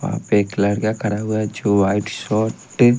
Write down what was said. वहां पे एक लड़का खड़ा हुआ है जो व्हाइट शर्ट --